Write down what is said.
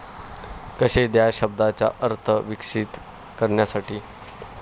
कसे ह्या शब्दाचा अर्थ विकसित करण्यासाठी?